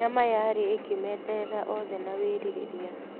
Nyama yarĩ ĩkĩmeeterera oothe na wĩrirĩria.